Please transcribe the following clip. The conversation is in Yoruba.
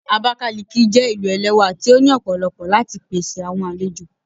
Abakiliki jé ilú ẹlẹwà tí o ní òpòlopo láti pèsè àwọn àlejò.